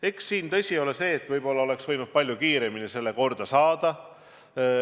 Eks siin ole tõsi see, et võib-olla oleks võinud selle palju kiiremini korda saada.